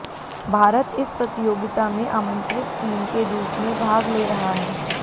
भारत इस प्रतियोगिता में आमंत्रित टीम के रूप में भाग ले रहा है